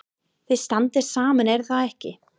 Þið standið saman er það ekki?